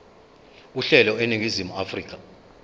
uhlelo eningizimu afrika